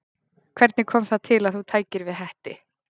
Hvernig kom það til að þú tækir við Hetti?